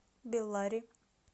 беллари